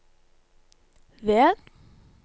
ved